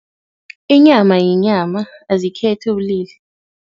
Inyama yinyama, azikhethi ubulili.